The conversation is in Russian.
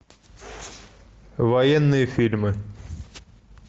военные фильмы